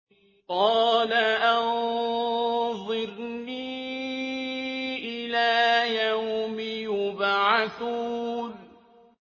قَالَ أَنظِرْنِي إِلَىٰ يَوْمِ يُبْعَثُونَ